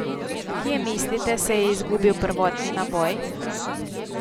Kje, mislite, se je izgubil prvotni naboj?